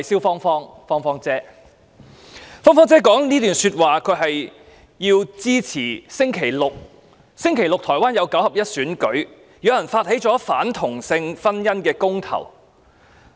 "芳芳姐"以這段說話支持將於星期六舉行的台灣九合一選舉，因為是次選舉包含了反同性婚姻的公投。